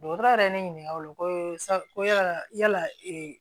Dɔgɔtɔrɔ yɛrɛ ne ɲininka o la ko sabu ko yala yala ee